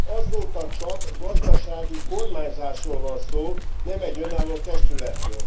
Azóta csak gazdasági kormányzásról van szó, nem egy önálló testületről.